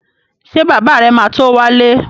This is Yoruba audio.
Ṣé bàbá rẹ̀ ma tó wálé?